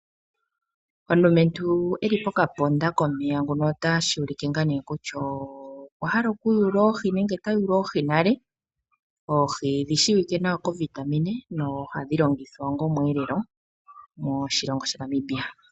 Omulumentu eli pokandama komeya ngono tashi ulike kutya okwahala okuyula oohi . Oohi odhi shiwike onga omweelelo moshilongo sha Namibia.